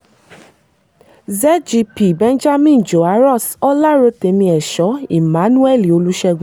zgp benjamin joarus ọlárótẹ̀mí ẹ̀shọ emmanuel olùṣègùn